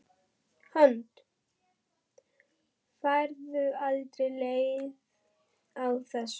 Hödd: Færðu aldrei leið á þessu?